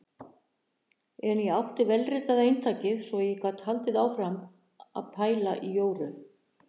En ég átti vélritaða eintakið svo ég gat haldið áfram að pæla í Jóru.